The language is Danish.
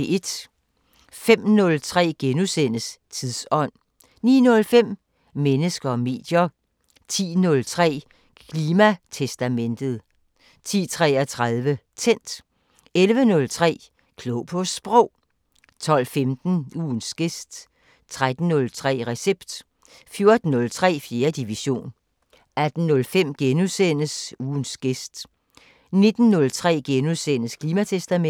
05:03: Tidsånd * 09:05: Mennesker og medier 10:03: Klimatestamentet 10:33: Tændt 11:03: Klog på Sprog 12:15: Ugens gæst 13:03: Recept 14:03: 4. division 18:05: Ugens gæst * 19:03: Klimatestamentet *